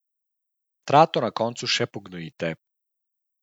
Trato na koncu še pognojite.